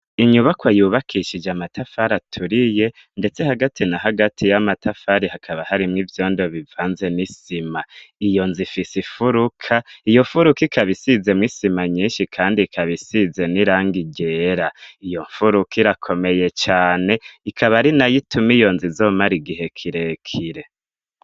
Inyubakwa yubakishije amatafari aturiye ndetse hagati na hagati y'amatafari hakaba harimwo ivyondo bivanze n'isima, iyo nzu ifise imfuruka, iyo mfuruka ikaba isizemwo isima nyinshi kandi ikaba isize n'irangi ryera, iyo mfuruka irakomeye cane ikaba ari nayo ituma iyo nzu izomara igihe kirekire.